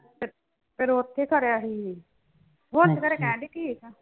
ਫਿਰ ਉੱਥੇ ਕਰਿਆ ਸੀ। ਹੁਣ ਤੇ ਫਿਰ ਕਹਿਣ ਡਈ ਠੀਕ ਆਂ।